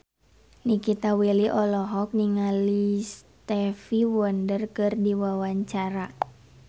Nikita Willy olohok ningali Stevie Wonder keur diwawancara